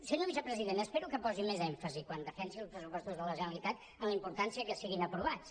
senyor vicepresident espero que posi més èmfasi quan defensi els pressupostos de la generalitat en la importància que siguin aprovats